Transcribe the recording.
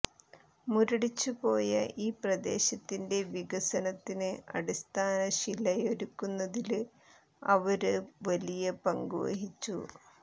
മുരടിച്ചുപോയ ഈ പ്രദേശത്തിന്റെ വികസനത്തിന് അടിസ്ഥാനശിലയൊരുക്കുന്നതില് അവര് വലിയ പങ്ക് വഹിച്ചു